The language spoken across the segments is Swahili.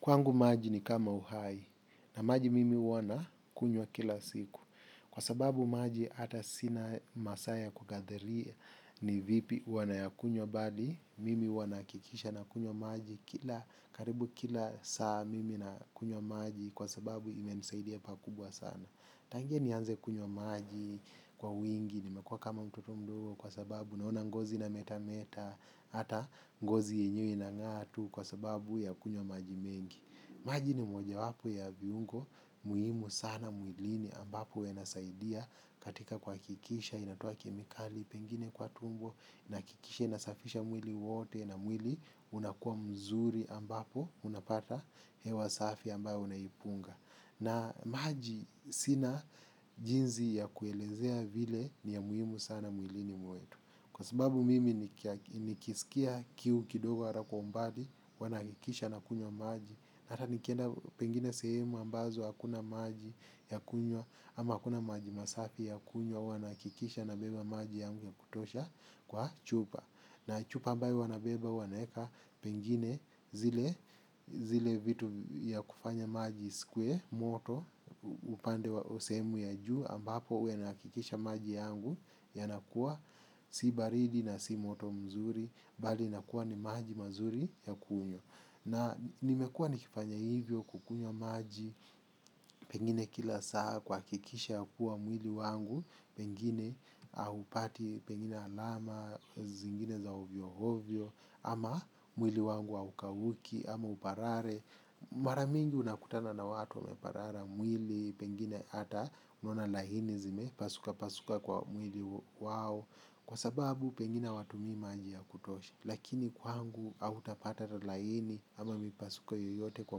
Kwangu maji ni kama uhai, na maji mimi huwa nakunywa kila siku. Kwa sababu maji hata sina masaa ya kukadiria ni vipi huwa nayakunywa bali, mimi huwa nahakikisha nakunywa maji kila, karibu kila saa mimi nakunywa maji kwa sababu imenisaidia pakubwa sana. Tangia nianze kunywa maji kwa wingi, nimekua kama mtoto mdogo kwa sababu naona ngozi inametameta, hata ngozi yenyewe inang'aa tu kwa sababu ya kunywa maji mengi. Maji ni mojawapo ya viungo muhimu sana mwilini ambapo yanasaidia. Katika kuhakikisha inatoa kemikali pengine kwa tumbo. Nahakikisha inasafisha mwili wote na mwili unakua mzuri ambapo unapata hewa safi ambayo unaipunga. Na maji sina jinsi ya kuelezea vile ni ya muhimu sana mwilini mwetu. Kwa sababu mimi nikisikia kiu kidogo wala kwa umbali huwa nahakikisha nakunywa maji hata nikienda pengine sehemu ambazo hakuna maji ya kunywa ama hakuna maji masafi ya kunywa huwa nahakikisha nabeba maji yangu ya kutosha kwa chupa. Na chupa ambayo huwa nabeba huwa naeka pengine zile vitu ya kufanya maji isikuwe moto. Upande wa sehemu ya juu ambapo huwa inahakikisha maji yangu yanakua si baridi na si moto mzuri. Bali inakuwa ni maji mazuri ya kunywa. Na nimekua nikifanya hivyo kukunywa maji. Pengine kila saa kuhakikisha ya kuwa mwili wangu pengine haupati pengine alama zingine za ovyo ovyo. Ama mwili wangu haukauki ama uparare. Mara mingi unakutana na watu wameparara mwili pengine hata unaona laini zimepasuka pasuka kwa mwili wao. Kwa sababu pengine hawatumii maji ya kutosha. Lakini kwangu hautapata laini ama mipasuko yoyote kwa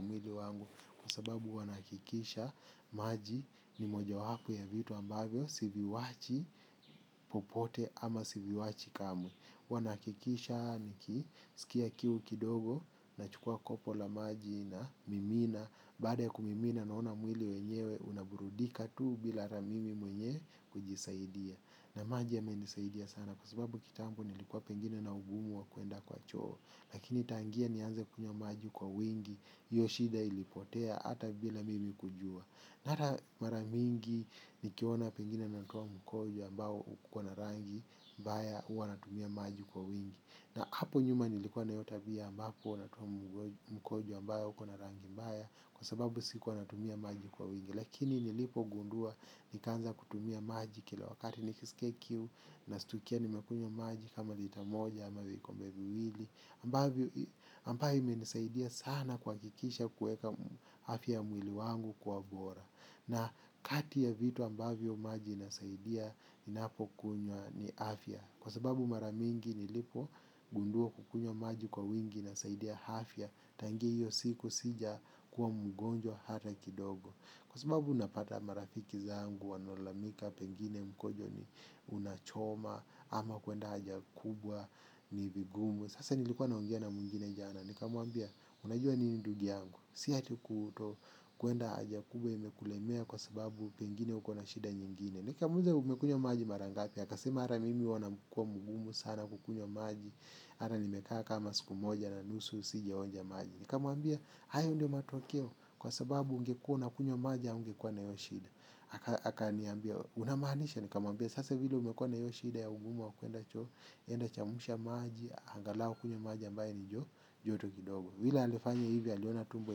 mwili wangu. Kwa sababu huwa nahakikisha maji ni mojawapo ya vitu ambavyo siviwachi popote ama siviwachi kamwe huwa nahakikisha niki sikia kiu kidogo nachukua kopo la maji namimina. Baada ya kumimina naona mwili wenyewe unaburudika tu bila ramimi mwenye kujisaidia. Na maji yamenisaidia sana kwa sababu kitambo nilikuwa pengine na ugumu wa kuenda kwa choo. Lakini tangia nianze kunywa maji kwa wingi hiyo shida ilipotea hata bila mimi kujua hata mara mingi nikiona pengine natoa mkojo ambao ukona rangi mbaya huwa natumia maji kwa wingi. Na hapo nyuma nilikuwa na hiyo tabia ambapo huwa natumia mkojo ambao ukona rangi mbaya. Kwa sababu sikuwa natumia maji kwa wingi. Lakini nilipogundua nikaanza kutumia maji kila wakati nikisikia kiu. Nastukia nimekunywa maji kama lita moja ama vikombe viwili ambayo imenisaidia sana kuhakikisha kueka afya ya mwili wangu kuwa bora. Na kati ya vitu ambavyo maji inasaidia ninapokunwya ni afya. Kwa sababu mara mingi nilipogundua kukunywa maji kwa wingi inasaidia afya. Tangia hiyo siku sijakuwa mgonjwa hata kidogo. Kwa sababu unapata marafiki zangu wanalalamika pengine mkojo ni unachoma ama kuenda haja kubwa ni vigumu. Sasa nilikuwa naongea na mwingine jana. Nikamwambia unajua nini ndugu yangu. Si ati kutokwenda haja kubwa imekulemea kwa sababu pengine uko na shida nyingine. Nikamuuliza umekunywa maji mara ngapi akasema hara mimi huwa nakuwa mgumu sana kukunywa maji. Ara nimekaa kama siku moja na nusu sijaonja maji. Nikamwambia hayo ndio matokeo kwa sababu ungekua unakunywa maji haungekua na hiyo shida akaniambia unamaanisha nikamwambia sasa vile umekua na hiyo shida ya ugumu wa kuenda choo enda chemsha maji angalau kunywa maji ambaye ni joto kidogo vile alifanya hivo aliona tumbo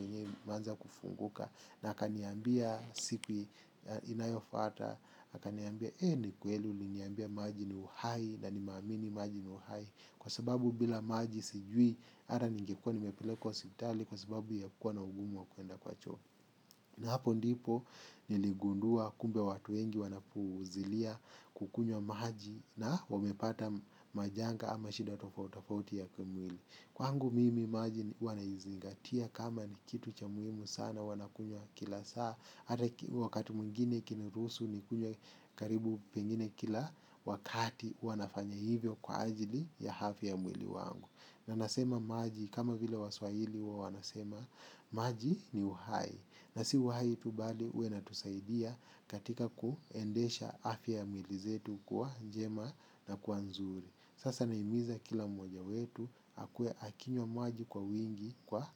yenyewe imeanza kufunguka na akaniambia siku inayofata akaniambia ni kweli uliniambia maji ni uhai na nimeamini maji ni uhai. Kwa sababu bila maji sijui hata ningekua nimepelekwa hospitali kwa sababu ya kuwa na ugumu wa kuenda kwa choo. Na hapo ndipo niligundua kumbe watu wengi wanapuuzilia kukunywa maji na wamepata majanga ama shida tofauti tofauti ya kimwili. Kwangu mimi maji huwa naizingatia kama ni kitu cha muhimu sana huwa nakunywa kila saa. Hata wakati mwengine ikiniruhusu nikunywe karibu pengine kila wakati huwa nafanya hivyo kwa ajili ya afya ya mwili wangu. Na nasema maji kama vile waswahili huwa wanasema maji ni uhai. Na si uhai tu bali huwa inatusaidia katika kuendesha afya ya mwili zetu kuwa njema na kuwa nzuri. Sasa nahimiza kila mmoja wetu akuwe akinywa maji kwa wingi kwa.